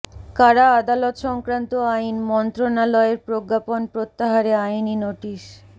কারা আদালত সংক্রান্ত আইন মন্ত্রণালয়ের প্রজ্ঞাপন প্রত্যাহারে আইনি নোটিশ